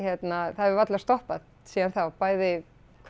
það hefur varla stoppað síðan þá bæði